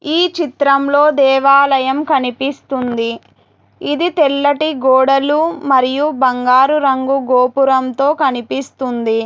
ఈ చిత్రంలో దేవాలయం కనిపిస్తుంది ఇది తెల్లటి గోడలు మరియు బంగారు రంగు గోపురంతో కనిపిస్తుంది.